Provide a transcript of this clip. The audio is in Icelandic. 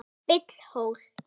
Bill hló.